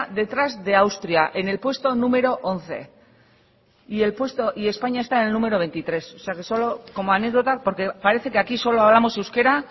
detrás de austria en el puesto número once y españa está en el número veintitrés o sea que solo como anécdota porque parece que aquí solo hablamos euskera